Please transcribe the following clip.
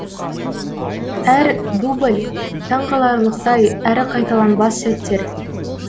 әр дубль таңқаларлықтай әрі қайталанбас сәттер